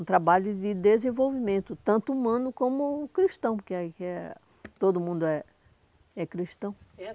Um trabalho de desenvolvimento, tanto humano como cristão, porque todo mundo é é cristão.